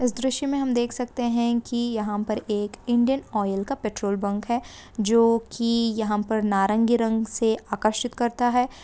इस दृश्य मैं हम देख सकते है | यहाँ पर एक इंडियन ऑइल का पेट्रोल पंप है जो की यहाँ पर नारंगी रंग से आकर्षित करता है।